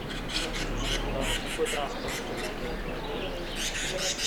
скажи а какой транспорт ходит до этого отеля